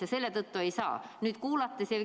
Ja selle tõttu ei saa.